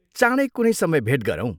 चाँडै कुनै समय भेट गरौँ।